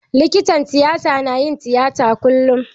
Likitan tiyata na yin tiyata kullum.